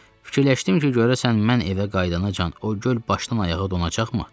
Fikirləşdim ki, görəsən mən evə qayıdanacan o göl başdan-ayağa donacaqmı?